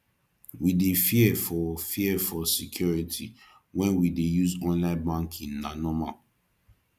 we dey fear for fear for security wen we dey use online banking na normal